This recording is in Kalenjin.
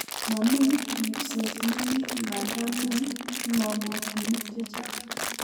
Momi ripset nemi ngandan mi png'omutinik chechang'